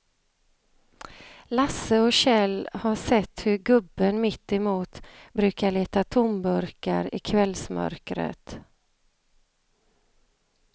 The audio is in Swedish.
Lasse och Kjell har sett hur gubben mittemot brukar leta tomburkar i kvällsmörkret.